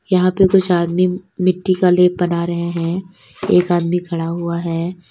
यहां पे कुछ आदमी मिट्टी का ले बना रहे हैं एक आदमी खड़ा हुआ है।